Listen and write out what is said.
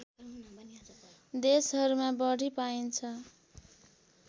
देशहरूमा बढि पाइन्छ